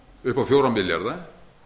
upp á fjóra milljarða